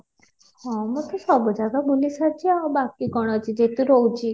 ହଁ ମୁଁ ତ ସବୁ ଜାଗା ବୁଲି ସାରିଛି ଆଉ ବାକି କ'ଣ ଅଛି ଏଠି ତ ରହୁଛି